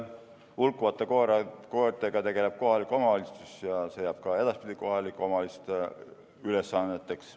Hulkuvate koertega tegeleb kohalik omavalitsus ja see jääb ka edaspidi kohalike omavalitsuste ülesandeks.